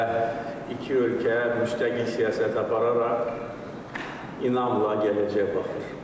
Və iki ölkə müstəqil siyasət apararaq inamla gələcəyə baxır.